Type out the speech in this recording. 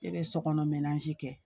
Ne bɛ sokɔnɔ kɛ